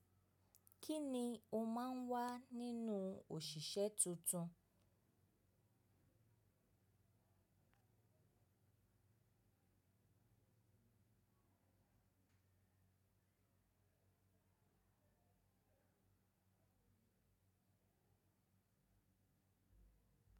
Kini o maa n wa ninu osise tuntun.